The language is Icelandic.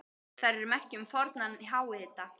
Þær eru merki um fornan háhita.